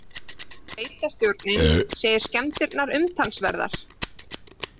Sveitarstjórinn segir skemmdirnar umtalsverðar